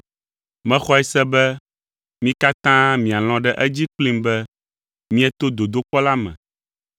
Mexɔe se be mi katã mialɔ̃ ɖe edzi kplim be mieto dodokpɔ la me.